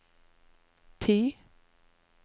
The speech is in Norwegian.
ti